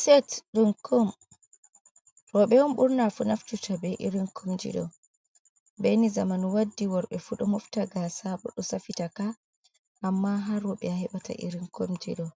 Set ɗum ko rooɓe on burnaa fuu naftita bee irin komji ɗo, bee ni zaman waddi, worɓe fuu ɗo mofta gaasa bo ɗo safitaka, amma haa rooɓe a heɓata irin komji ɗo'o,